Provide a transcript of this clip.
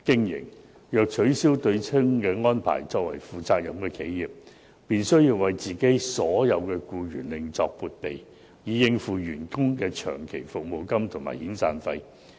如取消對沖安排，作為負責任的企業便需為其僱員另作撥備，以應付員工的長期服務金和遣散費。